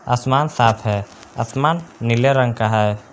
आसमान साफ है आसमान नीले रंग का है।